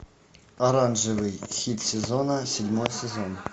оранжевый хит сезона седьмой сезон